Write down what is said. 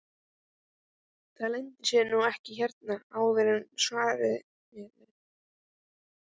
Það leyndi sér nú ekki hérna áður fyrr svaraði Engilbert.